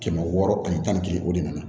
Kɛmɛ wɔɔrɔ ani tan ni kelen o de nana